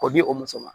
K'o di o muso ma